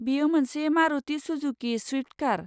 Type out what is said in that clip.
बेयो मोनसे Maruti Suzuki Swift car.